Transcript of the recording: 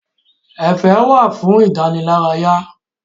Ẹ̀fẹ̀ wà fún ìdánilárayá.